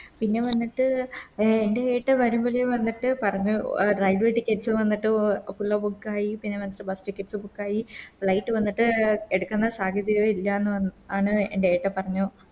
പിന്നെ വന്നിട്ട് എൻറെ ഏട്ടൻ വരുമ്പല് വന്നിട്ട് പറഞ്ഞു Railway ticket വന്നിട്ട് Book ആയി പിന്നെ മറ്റെ Bus tickets book ആയി Flight വന്നിട്ട് എടുക്കണ്ട സാധ്യതയെ ഇല്ലാന്ന് പറ ആണ് എൻറെ ഏട്ടൻ പറഞ്ഞു